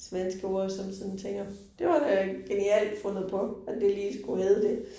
Svenske ord som sådan tænker. Det var da genialt fundet på, at det lige skulle hedde det